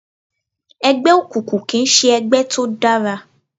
Ẹgbẹ́ òkùnkùn kìí ṣe ẹgbẹ́ tó dára